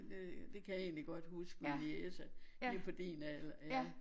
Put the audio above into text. Øh det kan jeg egentlig godt huske min niece lige på din alder